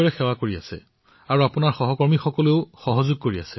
আপোনালোকে অতি সমৰ্পিত মনোভাৱেৰে দলৰ সৈতে সেৱাত ব্ৰতী হৈছে